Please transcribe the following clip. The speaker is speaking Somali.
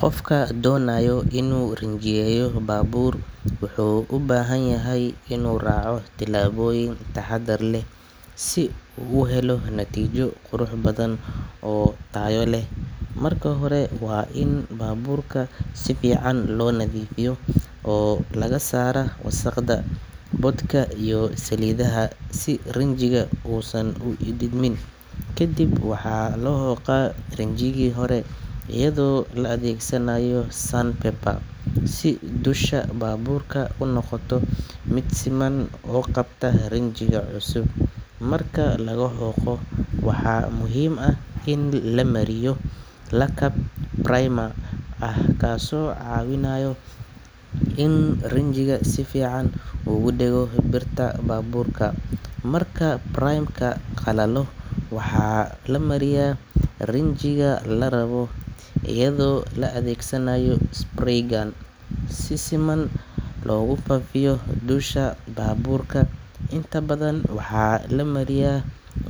Qofka doonaya inuu rinjiyeeyo baabuur wuxuu u baahan yahay inuu raaco tillaabooyin taxaddar leh si uu u helo natiijo qurux badan oo tayo leh. Marka hore, waa in baabuurka si fiican loo nadiifiyaa oo laga saaraa wasakhda, boodhka iyo saliidaha, si rinjiga uusan u diidmin. Kadib waxaa la xoqaa rinjigii hore iyadoo la adeegsanayo sandpaper si dusha baabuurka u noqoto mid siman oo qabta rinjiga cusub. Marka la xoqo, waxaa muhiim ah in la mariyo lakab primer ah kaasoo caawiyaa in rinjiga si fiican ugu dhego birta baabuurka. Marka primer-ka qalalo, waxaa la mariyaa rinjiga la rabo iyadoo la adeegsanayo spray gun si siman loogu faafiyo dusha baabuurka. Inta badan waxaa la mariyaa